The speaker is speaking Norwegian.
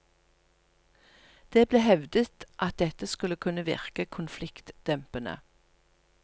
Det ble hevdet at dette skulle kunne virke konfliktdempende.